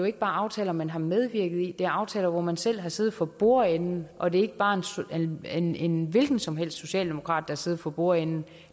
ikke bare aftaler man har medvirket i det er aftaler hvor man selv har siddet for bordenden og det er ikke bare en en hvilken som helst socialdemokrat der har siddet for bordenden